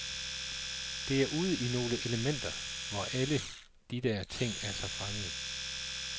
Det er ude i nogle elementer, hvor alle de der ting er så fremmede.